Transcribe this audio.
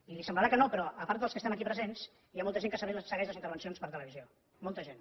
i li semblarà que no però a part dels que estem aquí presents hi ha molta gent que segueix les intervencions per televisió molta gent